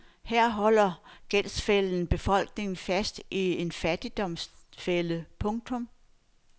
Her holder gældsfælden befolkningerne fast i en fattigdomsfælde. punktum